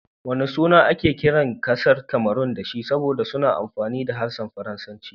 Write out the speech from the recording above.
Wana suna ake kiran kasar Cameron da shi saboda suna amfani da harshen Faransanci?